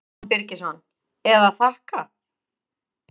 Símon Birgisson: Eða þakka?